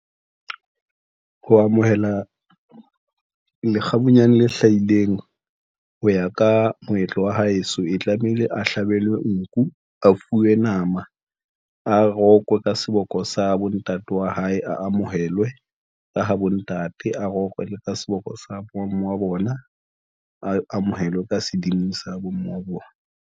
Ho amohela lekgabunyane le hlahileng, ho ya ka moetlo wa heso e tlamehile a hlabelwe. Nku, a fuwe nama a rokwe ka seboko sa bontate wa hae, a amohelwe ka ha bontate, a rokwe ka seboko sa bomme wa bona, a amohelwe ka sedimo sa bomme wa bona.